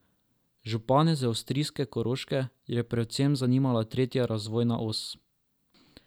Župane z avstrijske Koroške je predvsem zanimala tretja razvojna os.